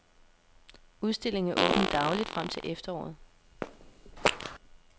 Udstillingen er åben dagligt frem til efteråret.